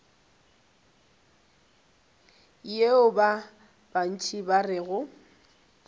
yeo ba bantši ba rego